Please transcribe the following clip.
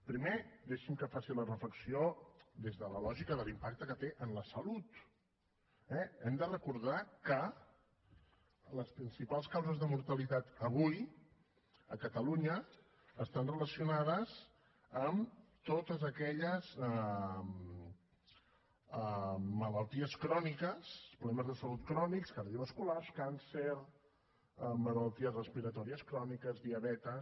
primer deixi’m que faci la reflexió des de la lògica de l’impacte que té en la salut eh hem de recordar que les principals causes de mortalitat avui a catalunya estan relacionades amb totes aquelles malalties cròniques problemes de salut crònics cardiovasculars càncers malalties respiratòries cròniques diabetis